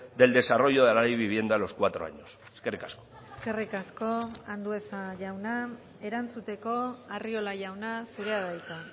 del desarrollo de la ley de vivienda a los cuatro años eskerrik asko eskerrik asko andueza jauna erantzuteko arriola jauna zurea da hitza